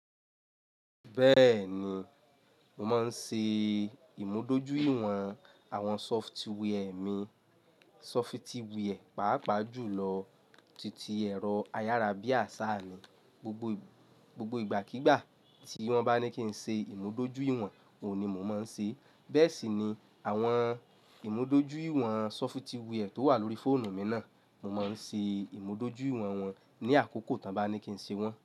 Bẹ́ẹ̀ni, mo máa ń ṣe ìmúdójúìwọ̀n àwọn sọfitíwìẹ̀ mi. Sọfitíwìẹ̀, pàápàá jùlọ titi ẹ̀rọ ayárabíàṣá mi. Gbogbo ìgbàkígbà tí wọ́n bá ní kí n ṣe ìmúdójúìwọ̀n, òun ni mò máa ń ṣe. Bẹ́ẹ̀ ṣì ni àwọn ìmúdójúìwọ̀n sọfitíwìẹ̀ tó wà lórí fóònù mi náà. Mo máa ń ṣe ìmúdójúìwọ̀n wọn ní àkókò tó bá ní kí n ṣe wọ́n.